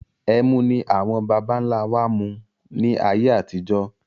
Ẹmu ni àwọn baba ńlá wa máa ń mu ni ayé àtijọ́